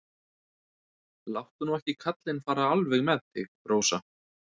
Láttu nú ekki kallinn fara alveg með þig, Rósa.